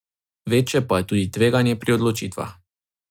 Večje pa je tudi tveganje pri odločitvah.